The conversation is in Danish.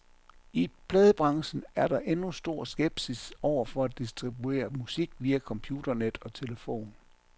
I pladebranchen er der endnu stor skepsis over for at distribuere musik via computernet og telefon.